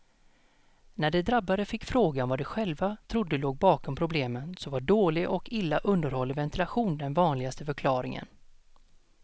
När de drabbade fick frågan vad de själva trodde låg bakom problemen så var dålig och illa underhållen ventilation den vanligaste förklaringen.